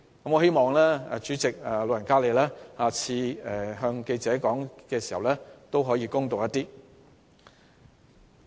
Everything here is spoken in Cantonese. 我希望主席日後向記者發表意見時可以公道一點。